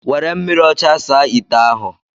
Were mmiri ocha saa ite ahu